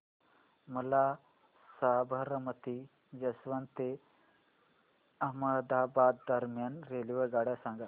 मला साबरमती जंक्शन ते अहमदाबाद दरम्यान रेल्वेगाड्या सांगा